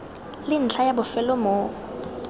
le ntlha ya bofelo mo